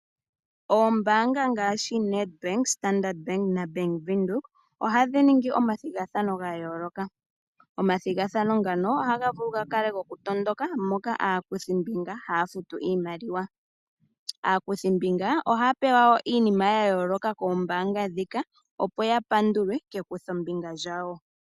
Oombanga ngaashi Nedbank, Standard naBank Widhoek ohadhi ningi omathigathano ga yooloka . Omathigathano ngano ohaga vulu ga kale goku matuka moka aakuthi mbinga haya futu iimaliwa. Aakuthimbinga ohaya pewa woo iinima ya yooloka koombaanga ndhika opo ya pandulwe kekuthombika lyawo.